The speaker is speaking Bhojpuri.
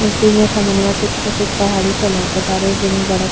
अबकी यहां समनमा के तरफ ए पहाड़ी सा लौकतारे जेमे बड़ा --